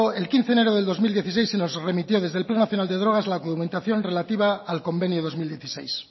el quince de enero de dos mil dieciséis se nos remitió desde el plan nacional de drogas la documentación relativa al convenio dos mil dieciséis